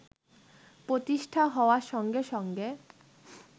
প্রতিষ্ঠা হওয়ার সঙ্গে সঙ্গে